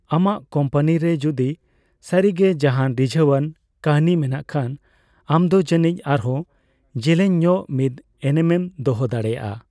ᱟᱢᱟᱜ ᱠᱳᱢᱯᱟᱱᱤ ᱨᱮ ᱡᱩᱫᱤ ᱥᱟᱹᱨᱤᱜᱮ ᱡᱟᱦᱟᱸᱱ ᱨᱤᱡᱷᱟᱹᱣ ᱟᱱ ᱠᱟᱹᱦᱱᱤ ᱢᱮᱱᱟᱜ ᱠᱷᱟᱱ, ᱟᱢᱫᱚ ᱡᱟᱹᱱᱤᱡ ᱟᱨᱦᱚᱸ ᱡᱮᱞᱮᱧ ᱧᱚᱜ ᱢᱤᱫ ᱮᱱᱮᱢᱮᱱ ᱫᱚᱦᱚ ᱫᱟᱲᱮᱭᱟᱜᱼᱟ ᱾